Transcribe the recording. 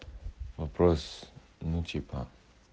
вопрос ну типа